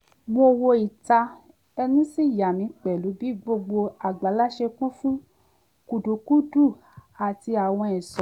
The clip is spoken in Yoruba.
mo wo ìta ẹnu sì yàmí pẹ̀lú bí gbogbo àgbàlá ṣe kún fún kudukúdu àti àwọn ẹ̀ṣọ́